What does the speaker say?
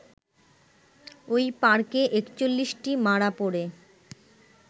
ওই পার্কে ৪১ টি মারা পড়ে